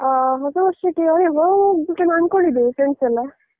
ಹ ಹೊಸ ವರ್ಷಕ್ಕೆ ಅದೇ ಹೊರಗ್ ಹೋಗ್ಬೇಕಂತ ಅಂದ್ಕೊಂಡಿದ್ದೇವೆ friends ಯೆಲ್ಲಾ.